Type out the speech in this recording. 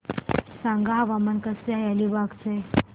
सांगा हवामान कसे आहे अलिबाग चे